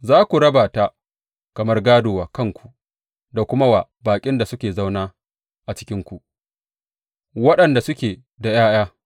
Za ku raba ta kamar gādo wa kanku da kuma wa baƙin da suka zauna a cikinku waɗanda suke da ’ya’ya.